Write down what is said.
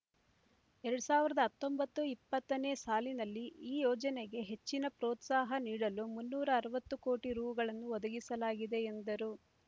ಎರಡ್ ಸಾವಿರದ ಹತ್ತೊಂಬತ್ತು ಇಪ್ಪತ್ತನೇ ಸಾಲಿನಲ್ಲಿ ಈ ಯೋಜನೆಗೆ ಹೆಚ್ಚಿನ ಪ್ರೋತ್ಸಾಹ ನೀಡಲು ಮುನ್ನೂರ ಅರವತ್ತು ಕೋಟಿ ರೂ ಗಳನ್ನು ಒದಗಿಸಲಾಗಿದೆ ಎಂದರು